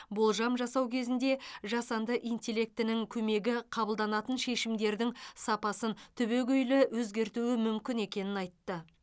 болжам жасау кезінде жасанды интеллектінің көмегі қабылданатын шешімдердің сапасын түбегейлі өзгертуі мүмкін екенін айтты